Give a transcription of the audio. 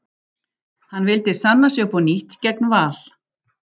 Hann vildi sanna sig upp á nýtt gegn Val.